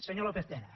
senyor lópez tena